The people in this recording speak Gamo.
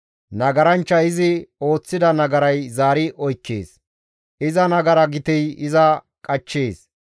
Nagaranchcha izi ooththida nagaray zaari oykkees. Iza nagara gitey iza qachchees.